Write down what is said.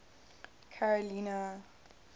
carolina